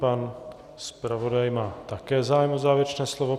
Pan zpravodaj má také zájem o závěrečné slovo.